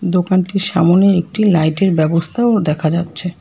দোকানটির সামোনে একটি লাইটের ব্যবস্থাও দেখা যাচ্ছে।